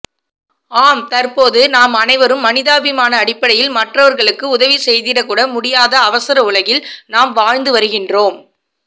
ஆம் தற்போது நாம் அனைவரும் மனிதாபிமானஅடிப்படையில் மற்றவர்களுக்கு உதவிசெய்திடகூட முடியாத அவசரஉலகில் நாம் வாழ்ந்துவருகின்றோம்